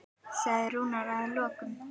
sagði Rúnar að lokum.